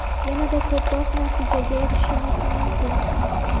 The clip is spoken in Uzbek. yanada ko‘proq natijaga erishishimiz mumkin!.